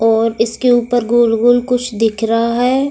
और इसके ऊपर गोल-गोल कुछ दिख रहा है।